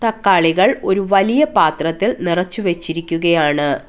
തക്കാളികൾ ഒരു വലിയ പാത്രത്തിൽ നിറച്ച് വെച്ചിരിക്കുകയാണ്.